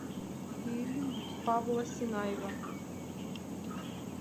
фильм павла сенаева